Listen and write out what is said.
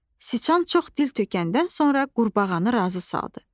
Siçan çox dil tökəndən sonra qurbağanı razı saldı.